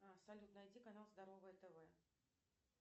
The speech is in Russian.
салют найди канал здоровое тв